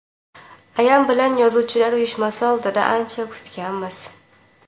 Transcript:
Ayam bilan yozuvchilar uyushmasi oldida ancha kutganmiz.